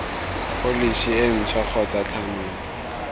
pholesi e ntšhwa kgotsa thanolo